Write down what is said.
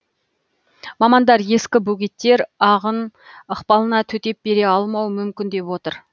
мамандар ескі бөгеттер ағын ықпалына төтеп бере алмауы мүмкін деп отыр